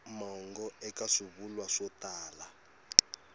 mongo eka swivulwa swo tala